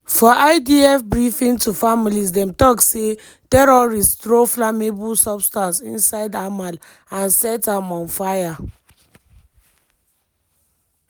for idf briefing to families dem tok say "terrorists throw flammable substance inside hamal and set am on fire".